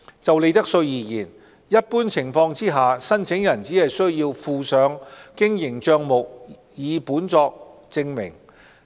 就利得稅而言，一般情況下，申請人只需附上經營帳目擬本作證明。